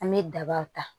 An bɛ daba ta